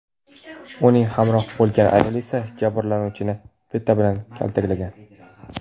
Uning hamrohi bo‘lgan ayol esa jabrlanuvchini bita bilan kaltaklagan.